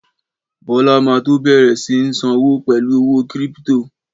Bọ́lá ma tó bẹ̀rẹ̀ sí ń sọ́wọ́ pẹ̀lú owó kírípítò